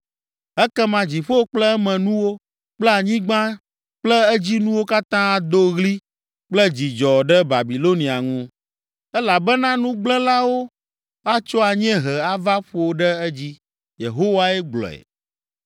Ekema dziƒo kple emenuwo kple anyigba kple edzinuwo katã ado ɣli kple dzidzɔ ɖe Babilonia ŋu, elabena nugblẽlawo atso anyiehe ava ƒo ɖe edzi.” Yehowae gblɔe.